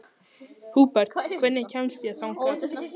Húbert, hvernig kemst ég þangað?